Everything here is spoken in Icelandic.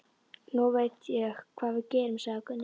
Nú veit ég hvað við gerum, sagði Gunni.